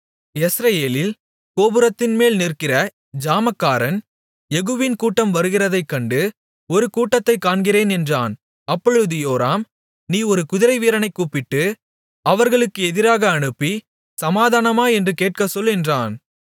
யெஸ்ரயேலில் கோபுரத்தின்மேல் நிற்கிற ஜாமக்காரன் யெகூவின் கூட்டம் வருகிறதைக் கண்டு ஒரு கூட்டத்தைக் காண்கிறேன் என்றான் அப்பொழுது யோராம் நீ ஒரு குதிரைவீரனைக் கூப்பிட்டு அவர்களுக்கு எதிராக அனுப்பி சமாதானமா என்று கேட்கச்சொல் என்றான்